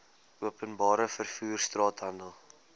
openbare vervoer straathandel